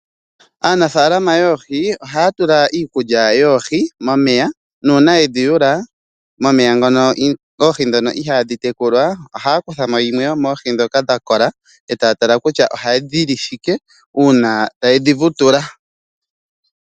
Aanafalama yoohi ohaya tula iikulya yoohi momeya nuuna yedhi yula momeya ngono oohi ndhono ihadhi tekula ohaya kutha mo yimwe yomoohi ndhoka dha kola e taya tala kutya ohadhi li shike uuna taye dhi vutula.